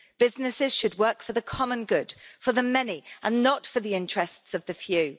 Businesses should work for the common good, for the many and not for the interests of the few.